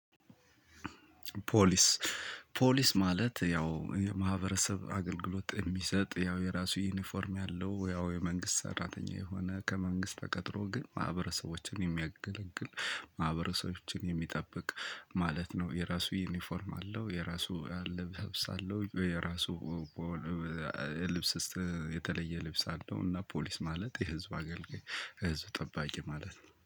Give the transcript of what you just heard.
ፖሊስ ፖሊስ ማለት ያው የማህበረሰብ አገልግሎት የሚሰጥ ያው የራሱ ዩኒፎርም ያለው ያው የመንግስት ሰራተኛ የሆነ ከመንግስት ተቀጥሮ ግን ማህበረሰቦችን የሚያገለግል ማህበረሰቦችን የሚጠብቅ ማለት ነው። የራሱ ዩኒፎርም አለው የራሱ አለባበስ አለው የራሱ ልብስ የተለየ ልብስ አለው። እና ፖሊስ ማለት የህዝብ አገልጋይ ህዝብ ጠባቂ ማለት ነው